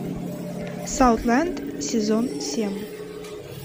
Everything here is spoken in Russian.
саутленд сезон семь